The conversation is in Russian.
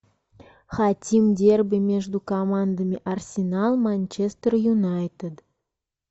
хотим дерби между командами арсенал манчестер юнайтед